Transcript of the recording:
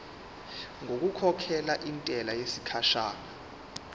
ngokukhokhela intela yesikhashana